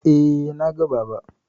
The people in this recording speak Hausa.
Eh, na ga Baba.